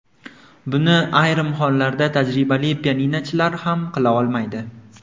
Buni ayrim hollarda tajribali pianinochilar ham qila olmaydi.